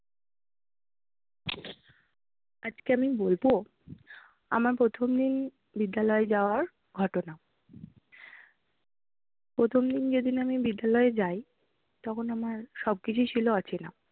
আজকে আমি বলবো আমার প্রথম বিদ্যালয় যাওয়ার ঘটনা। প্রথম দিন যেদিন আমি বিদ্যালয়ে যাই তখন আমার সব কিছুই ছিল অচেনা।